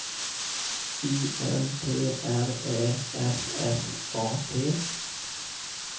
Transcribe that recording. I N T R Ä F F A T